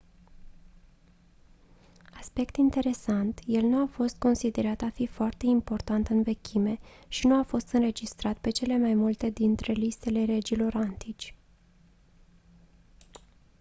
aspect interesant el nu a fost considerat a fi foarte important în vechime și nu a fost înregistrat pe cele mai multe dintre listele regilor antici